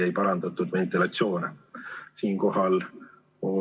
Teie ees on põhikooli- ja gümnaasiumiseaduse muutmise seaduse eelnõu numbriga 349.